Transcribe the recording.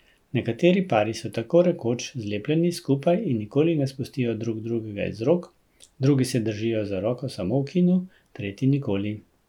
Nekateri pari so tako rekoč zlepljeni skupaj in nikoli ne spustijo drug drugega iz rok, drugi se držijo za roko samo v kinu, tretji nikoli.